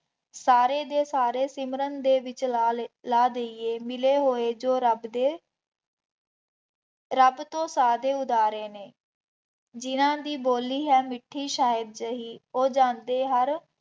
ਸਾਰੇ ਦੇ ਸਾਰੇ ਸਿਮਰਨ ਦੇ ਵਿੱਚ ਲਾ ਲਏ ਲਾ ਦੇਈਏ, ਮਿਲੇ ਹੋਏ ਜੋ ਰੱਬ ਦੇ ਰੱਬ ਤੋਂ ਸਾਜ਼ੇ ਉਦਾਰੇ ਨੇ, ਜਿੰਂਨ੍ਹਾ ਦੀ ਬੋਲੀ ਹੈ ਮਿੱਠੀ ਸ਼ਾਇਦ ਹੀ ਉਹ ਜਾਂਦੇ ਹਰ